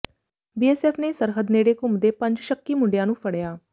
BSF ਨੇ ਸਰਹੱਦ ਨੇੜੇ ਘੁੰਮਦੇ ਪੰਜ ਸ਼ੱਕੀ ਮੁੰਡਿਆਂ ਨੂੰ ਫੜਿਆ